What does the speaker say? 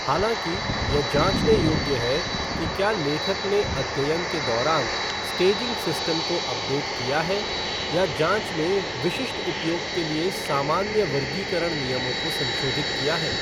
हालाँकि, यह जाँचने योग्य है कि क्या लेखक ने अध्ययन के दौरान स्टेजिंग सिस्टम को अपडेट किया है, या जाँच में विशिष्ट उपयोग के लिए सामान्य वर्गीकरण नियमों को संशोधित किया है।